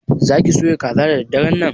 Za ki soya kaza da daddaran nan?